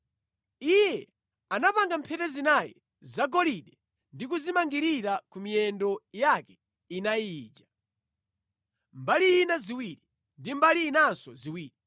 Iye anapanga mphete zinayi zagolide ndi kuzimangirira ku miyendo yake inayi ija, mbali ina ziwiri ndi mbali inanso ziwiri.